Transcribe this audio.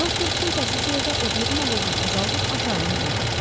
Doktor kimsəsiz yerdə odluğun alovunu azaldıb aşağı enməyə başladı.